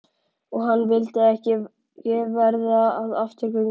Og hann vildi ekki verða að afturgöngu.